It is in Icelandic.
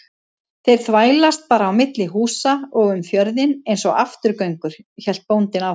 Þeir þvælast bara á milli húsa og um fjörðinn einsog afturgöngur, hélt bóndinn áfram.